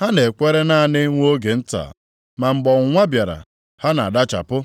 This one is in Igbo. Ha na-ekwere naanị nwa oge nta, ma mgbe ọnwụnwa bịara ha na-adachapụ.